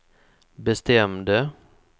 bestämde